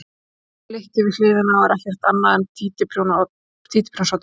Svarta flykkið við hliðina er ekkert annað en títuprjónsoddur.